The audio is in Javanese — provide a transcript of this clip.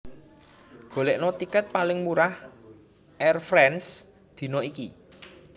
Golekno tiket paling murah Air France dina iki